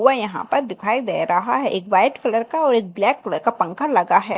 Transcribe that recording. वे यहां पर दिखाई दे रहा है एक व्हाइट कलर का और एक ब्लैक कलर का पंखा लगा है।